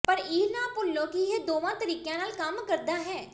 ਪਰ ਇਹ ਨਾ ਭੁੱਲੋ ਕਿ ਇਹ ਦੋਵਾਂ ਤਰੀਕਿਆਂ ਨਾਲ ਕੰਮ ਕਰਦਾ ਹੈ